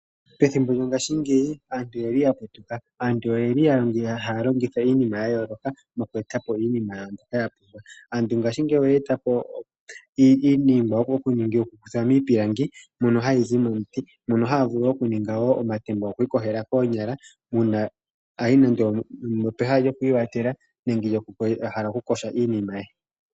Pethimbo lyo ngashingeyi aantu oyeli ya putuka, Aantu oyeli halongitha iinima ya yooloka, mokweetapo iinima yawo mbyoka yapumbwa, Aantu ngashingeyi Oyetapo iiningwa mbyoka yakuthwa miipilangi mono hayi Zi momunti Moka hamu ningwa omatemba gokwikoshela koonyala